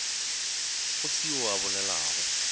go se yoo a bolelago